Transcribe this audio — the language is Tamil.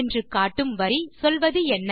என்று காட்டும் வரி சொல்வதென்ன